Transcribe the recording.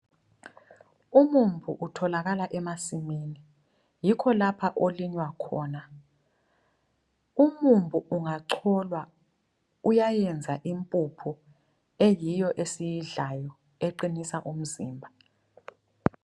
Umumbu utholakala emasimini, yikho lapha olinywa khona. Umumbu ungacholwa uyayenza impuphu eyiyo esiyidlayo eqinisa umzimba.